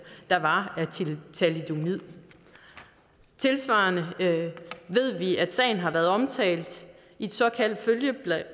der var af thalidomid tilsvarende ved vi at sagen har været omtalt i et såkaldt følgeblad